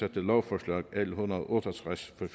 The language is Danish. lovforslag l en hundrede og otte og tres der